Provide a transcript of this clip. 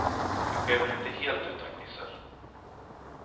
Det sker väl inte helt utan gnissel.